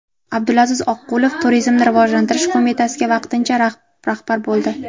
Abdulaziz Oqqulov Turizmni rivojlantirish qo‘mitasiga vaqtincha rahbar bo‘ldi.